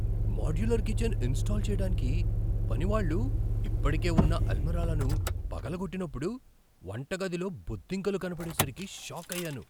Modular kitchen install చేయడానికి పనివాళ్ళు ఇప్పటికే ఉన్న అల్మారాలను పగులగొట్టినప్పుడు వంటగదిలో బొద్దింకలు కనబడేసరికి షాకయ్యాను.